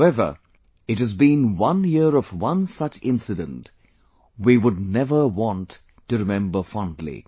However, it has been one year of one such incidentwe would never want to remember fondly